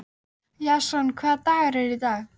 Jason, hvaða dagur er í dag?